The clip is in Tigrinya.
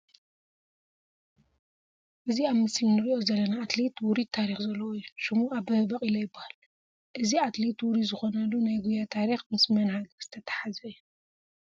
እዚ ኣብ ምስሊ ንሪኦ ዘለና ኣትሌት ውሩይ ታሪክ ዘለዎ እዩ፡፡ ሽሙ ኣበበ ባቂላ ይበሃል፡፡ እዚ ኣትሌት ውሩይ ዝኾነሉ ናይ ጉያ ታሪክ ምስ መን ሃገር ዝተተሓሓዘ እዩ?